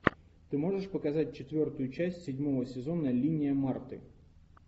ты можешь показать четвертую часть седьмого сезона линия марты